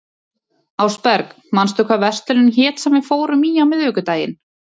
Ásberg, manstu hvað verslunin hét sem við fórum í á miðvikudaginn?